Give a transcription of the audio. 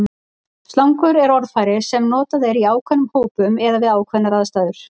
slangur er orðfæri sem notað er í ákveðnum hópum eða við ákveðnar aðstæður